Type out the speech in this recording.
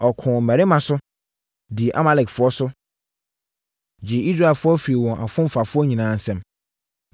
Ɔkoo mmarima so, dii Amalekfoɔ so, gyee Israelfoɔ firii wɔn afomfafoɔ nyinaa nsam.